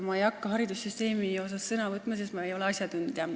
Ma ei hakka haridussüsteemi kohta sõna võtma, sest ma ei ole asjatundja.